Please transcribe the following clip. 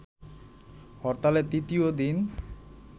হরতালের তৃতীয় দিন